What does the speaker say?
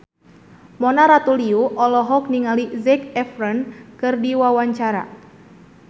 Mona Ratuliu olohok ningali Zac Efron keur diwawancara